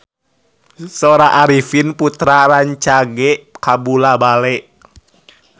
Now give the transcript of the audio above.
Sora Arifin Putra rancage kabula-bale